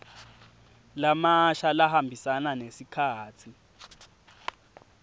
lamasha lahambisana nesikhatsi